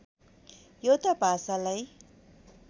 एउटा भाषालाई